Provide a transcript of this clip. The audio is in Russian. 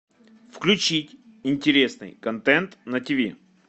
включить интересный контент на тв